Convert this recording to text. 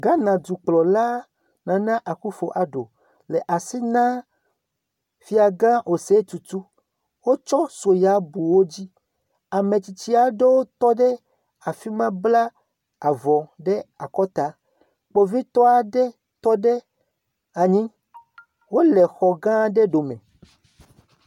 Ghana dukplɔla Nana Akuffo Addo le asi na fiagã Oseiɔ̃Tutu. Wotsɔ soya bu wo dzi. Ame tsitsi aɖewo tɔ ɖe afi ma bla avɔ ɖe akɔta. Kpovitɔ aɖe tɔ ɖe anyi. Wole xɔ gã aɖe ɖome.